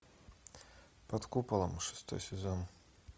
под куполом шестой сезон